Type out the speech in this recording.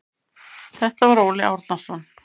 Þetta var Óli Árnason.